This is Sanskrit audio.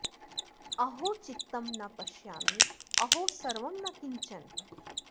अहो चित्तं न पश्यामि अहो सर्वं न किञ्चन